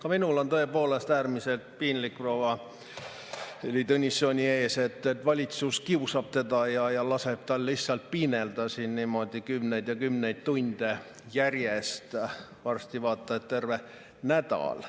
Ka minul on tõepoolest äärmiselt piinlik proua Heili Tõnissoni ees, et valitsus kiusab teda ja laseb tal lihtsalt piinelda siin niimoodi kümneid ja kümneid tunde järjest, varsti vaata et terve nädal.